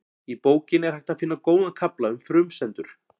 Í bókinni er hægt að finna góðan kafla um frumsendur.